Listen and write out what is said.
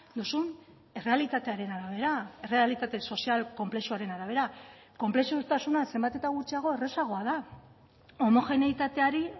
duzun errealitatearen arabera errealitate sozial konplexuaren arabera konplexutasuna zenbat eta gutxiago errazagoa da homogeneitateari